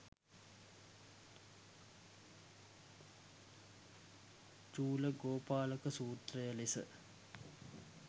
චූලගෝපාලක සූත්‍රය ලෙස